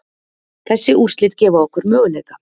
Þessi úrslit gefa okkur möguleika